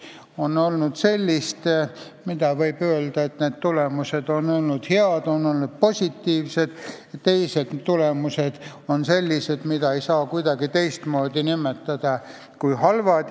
On olnud selliseid tulemusi, mille kohta võib öelda, et need on olnud head ja positiivsed, aga teised tulemused on sellised, mida ei saa nimetada kuidagi teistmoodi kui halvad.